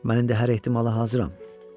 Mən indi hər ehtimala hazıram.